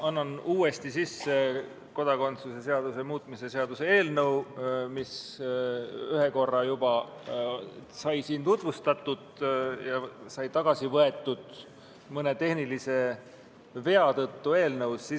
Ma annan uuesti sisse kodakondsuse seaduse muutmise seaduse eelnõu, mida on ühel korral juba siin tutvustatud ja mis sai tagasi võetud mõne tehnilise vea tõttu, mis eelnõus sisaldusid.